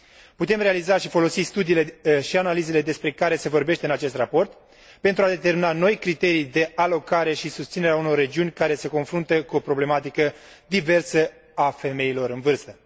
Putem realiza și folosi studiile și analizele despre care se vorbește în acest raport pentru a determina noi criterii de alocare și susținere a unor regiuni care se confruntă cu o problematică diversă a femeilor în vârstă.